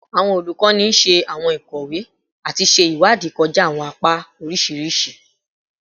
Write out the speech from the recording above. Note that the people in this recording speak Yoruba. Awọn olukọni ṣe awọn ikowe ati ṣe iwadii kọja awọn apa oriṣiriṣi